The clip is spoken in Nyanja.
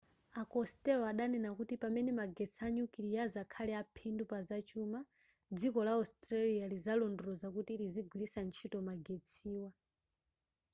a costello adanena kuti pamene magetsi a nyukiliya azakhale aphindu pazachuma dziko la australia lizalondoloza kuti lizigwiritsa ntchito magetsiwa